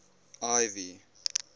ivy